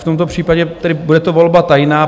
V tomto případě tedy bude to volba tajná.